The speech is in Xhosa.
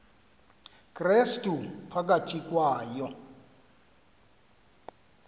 krestu phakathi kwayo